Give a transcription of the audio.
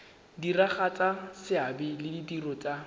diragatsa seabe le ditiro tsa